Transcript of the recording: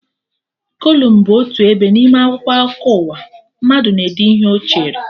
Kolum bụ otu ebe n'ime akwụkwọ akụkọ ụwa, mmadụ na-ede ihe Ọ chere